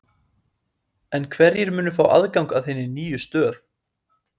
En hverjir munu fá aðgang að hinni nýju stöð?